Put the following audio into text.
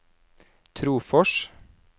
Trofors